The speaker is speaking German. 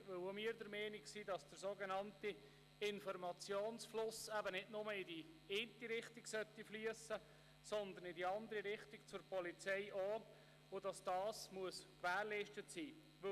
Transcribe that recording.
Auch wir sind der Meinung, dass der sogenannte Informationsfluss nicht nur in die eine Richtung, sondern auch in die andere Richtung, zur Polizei fliessen sollte, und dies gewährleistet sein muss.